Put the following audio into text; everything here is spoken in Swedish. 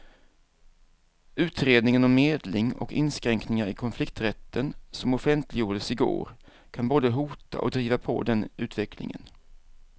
Utredningen om medling och inskränkningar i konflikträtten som offentliggjordes i går kan både hota och driva på den utvecklingen.